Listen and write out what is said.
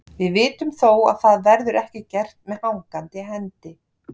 Við vitum þó að það verður ekki gert með hangandi hendi.